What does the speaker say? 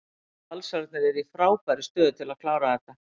Valsararnir eru í frábærri stöðu til að klára þetta.